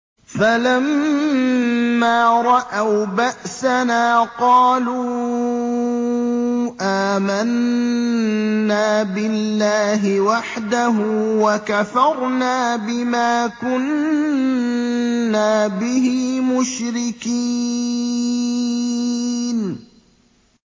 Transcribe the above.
فَلَمَّا رَأَوْا بَأْسَنَا قَالُوا آمَنَّا بِاللَّهِ وَحْدَهُ وَكَفَرْنَا بِمَا كُنَّا بِهِ مُشْرِكِينَ